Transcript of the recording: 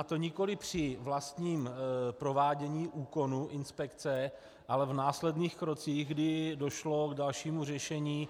A to nikoli při vlastním provádění úkonu inspekce, ale v následných krocích, kdy došlo k dalšímu řešení